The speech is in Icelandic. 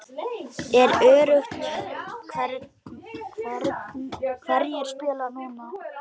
Er öruggt hverjir spila núna?